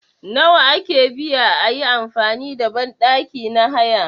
Nawa ake biya ayi amfani da banɗaki na haya